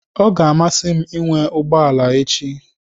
Ọ ga-amasị m ịnwe ụgbọ ala echi.